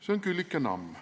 " See on Küllike Namm.